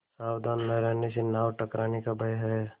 सावधान न रहने से नाव टकराने का भय है